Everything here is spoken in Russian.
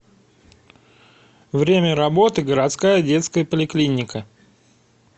время работы городская детская поликлиника